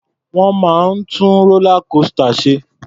Wọ́n máa ń tú rólá kósità ṣe.